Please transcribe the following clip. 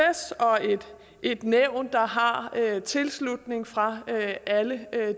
et nævn der har tilslutning fra alle